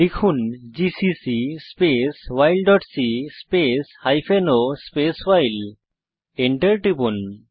লিখুন GCC space file dot c space hyphen o space file Enter টিপুন